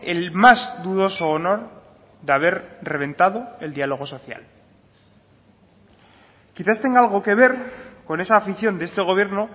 el más dudoso honor de haber reventado el diálogo social quizás tenga algo que ver con esa afición de este gobierno